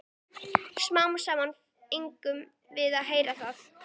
Smám saman fengum við að heyra það.